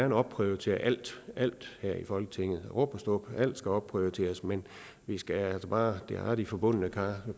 vil opprioritere alt her i folketinget rub og stub alt skal opprioriteres men vi skal altså bare bevare de forbundne kar